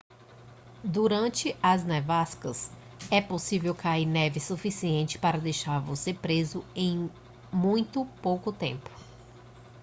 durante as nevascas é possível cair neve suficiente para deixar você preso em muito pouco tempo